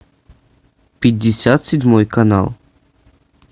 пятьдесят седьмой канал